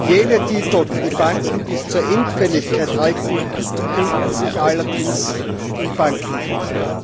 Jene Titel, die die Banken bis zur Endfälligkeit halten, finden sich allerdings im Bankenbuch.